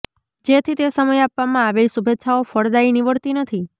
જેથી તે સમયે આપવામાં આવેલી શુભેચ્છાઓ ફળદાયી નીવડતી નથી